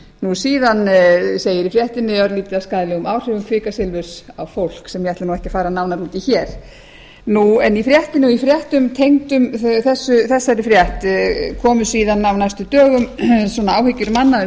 nú síðan segir í fréttinni að örlítið af skaðlegum áhrifum kvikasilfurs á fólk sem ég ætla nú ekki að fara nánar út í hér en í fréttum tengdum þessari frétt komu síðan nánast dögum saman svona áhyggjur manna um